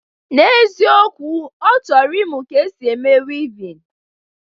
N'eziokwu, ọ chọrọ ịmụ ka esi eme wivin